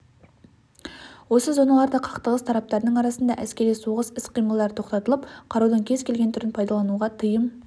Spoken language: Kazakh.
осы зоналарда қақтығыс тараптарының арасында әскери соғыс іс-қимылдары тоқтатылып қарудың кез келген түрін пайдалануға тыйым